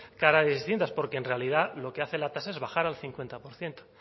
caras distintas porque en realidad lo que hace la tasa es bajar al cincuenta por ciento